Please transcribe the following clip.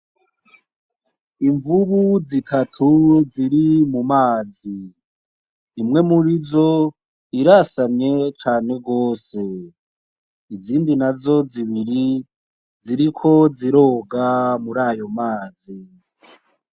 Imvubu zitatu ziri mu mazi. Imwe murizo irasamye cane gose. Izindi nazo zibiri, ziriko ziroga murayo mazi.